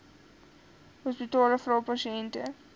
hospitale vra pasiënte